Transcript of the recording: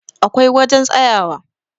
akwai wajen tsayawa